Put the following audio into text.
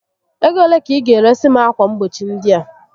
Ego ole ka ị ga eresi m akwa mgbochi ndị a?